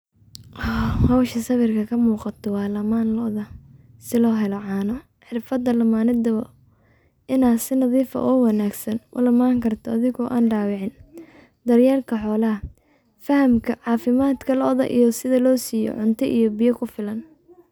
Howshan sawirka kamuuqato waa laman looda si loo helo caano ,xirfada lamanada inay si nadiif oo wanaagsan ola laman karto adigo an dhaawicin, daryelka xoolaha, fahamka caafimaadka lo'da iyo sida loo siyo cunto iyo biyo kufilan